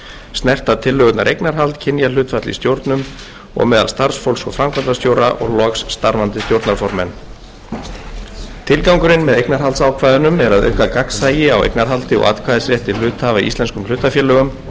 snerta tillögurnar eignarhald kynjahlutföll í stjórnum og meðal starfsfólks og framkvæmdastjóra og loks starfandi stjórnarformenn tilgangurinn með eignarhaldsákvæðunum er að auka gagnsæi á eignarhaldi og atkvæðisrétti hluthafa í íslenskum hlutafélögum